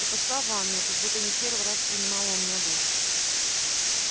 и пошла в ванную как будто не в первый раз принимала у меня душ